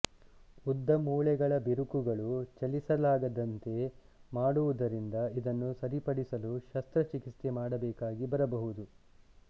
ಉದ್ದ ಮೂಳೆಗಳ ಬಿರುಕುಗಳು ಚಲಿಸಲಾಗದಂತೆ ಮಾಡುವುದರಿಂದ ಇದನ್ನು ಸರಿಪಡಿಸಲು ಶಸ್ತ್ರಚಿಕಿತ್ಸೆ ಮಾಡಬೇಕಾಗಿ ಬರಬಹುದು